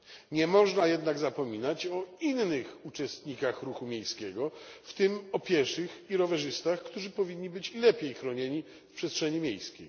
Nie można jednak zapominać o innych uczestnikach ruchu miejskiego, w tym o pieszych i rowerzystach, którzy powinni być lepiej chronieni w przestrzeni miejskiej.